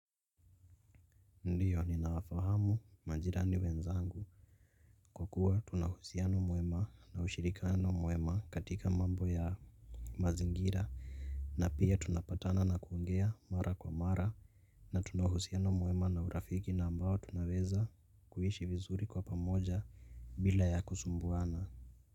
Ndiyo ninawafahamu majirani wenzangu. Kwa kuwa tuna uhusiano mwema na ushirikiano mwema katika mambo ya mazingira na pia tunapatana na kuongea mara kwa mara. Na tuna uhusiano mwema na urafiki na ambao tunaweza kuishi vizuri kwa pamoja bila ya kusumbuana.